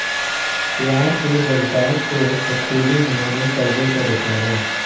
प्यार के जज्बात को बखूबी उन्होंने परदे पर उतारा